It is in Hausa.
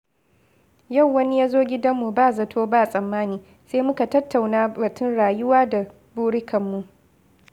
Yau wani ya zo gidanmu ba zato ba tsammani, sai muka tattauna batun rayuwa da burikanmu.